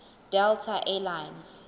delta air lines